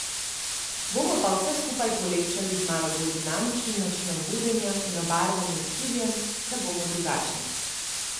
Bomo pa vse skupaj polepšali z malo bolj dinamičnim načinom vodenja in obarvanim studiem, da bomo drugačni.